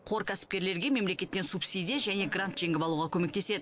қор кәсіпкерлерге мемлекеттен субсидия және грант жеңіп алуға көмектеседі